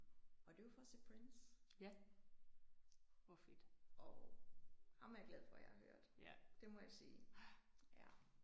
Og det var for at se Prince og ham er jeg glad for jeg har hørt. Det må jeg sige